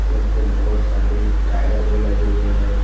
और उसमें बहोत सारे टायर भी लगे हुए हैं।